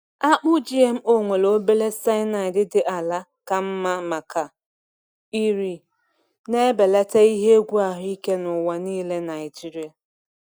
Akpụ GMO nwere obere cyanide dị ala ka mma maka iri, na-ebelata ihe egwu ahụike n’ụwa niile Naijiria.